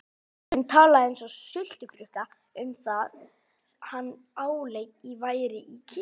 Presturinn talaði eins og sultukrukka um það sem hann áleit að væri í kistunni.